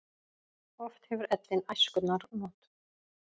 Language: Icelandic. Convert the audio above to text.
Oft hefur ellin æskunnar not.